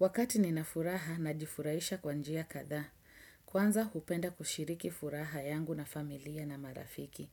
Wakati nina furaha najifurahisha kwa njia kadhaa. Kwanza, hupenda kushiriki furaha yangu na familia na marafiki.